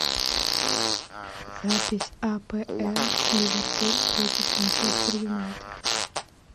запись апл ливерпуль против манчестер юнайтед